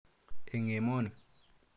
Eng' emoni.